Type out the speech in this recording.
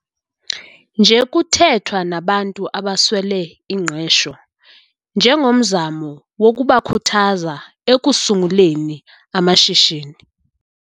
Nje kuthethwa nabantu abaswele ingqesho njengomzamo wokubakhuthaza ekusunguleni amashishini.